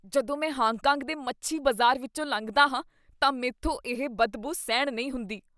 ਜਦੋਂ ਮੈਂ Hong Kong ਦੇ ਮੱਛੀ ਬਾਜ਼ਾਰ ਵਿੱਚੋਂ ਲੰਘਦਾ ਹਾਂ ਤਾਂ ਮੈਂਥੋਂ ਇਹ ਬਦਬੂ ਸਹਿਣ ਨਹੀਂ ਹੁੰਦੀ।